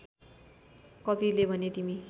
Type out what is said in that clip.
कवीरले भने तिमी